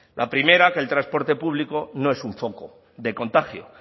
la primera que el transporte público no es un foco de contagio